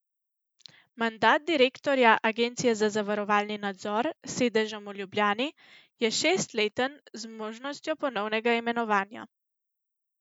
Mandat direktorja Agencije za zavarovalni nadzor s sedežem v Ljubljani je šestleten z možnostjo ponovnega imenovanja.